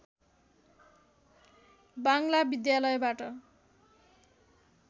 बाङ्ग्ला विद्यालयबाट